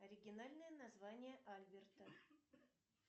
оригинальное название альберта